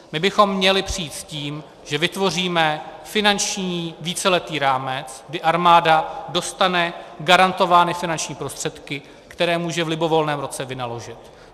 My bychom měli přijít s tím, že vytvoříme finanční víceletý rámec, kdy armáda dostane garantovány finanční prostředky, které může v libovolném roce vynaložit.